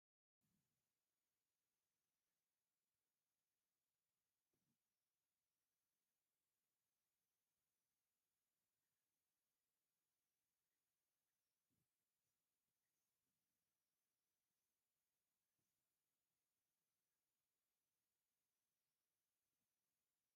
እዚ ኣብ ሓደ ድኳን ዝተደራረቡ ፍርያት ቸኮሌትን ካራሜላን ዘርኢ እዩ። እቶም ቀንዲ ምልክታት ስኒከርስ፡ ትዊክስ፡ ማርስ፡ እዮም። እተን ሕብራዊ ፓኬታት ኣብ መደርደሪ ተሰሪዐን ኣለዋ።